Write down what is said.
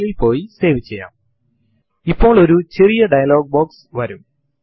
Linux kernel ലിന്റെ ഏതു പതിപ്പാണ് പ്രവർത്തിക്കുന്നത് എന്നറിയാൻ നിങ്ങൾ ആഗ്രഹിക്കുന്നുണ്ടാവും